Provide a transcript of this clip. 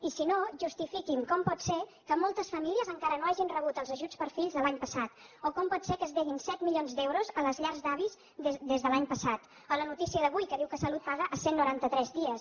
i si no justifiquin com pot ser que moltes famílies encara no hagin rebut els ajuts per fills de l’any passat o com pot ser que es deguin set milions d’euros a les llars d’avis des de l’any passat o la notícia d’avui que diu que salut paga a cent i noranta tres dies